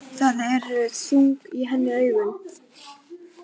Það eru þung í henni augun.